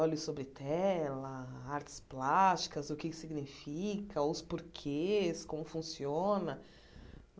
Olhos sobre tela, artes plásticas, o que é que significa, os porquês, como funciona.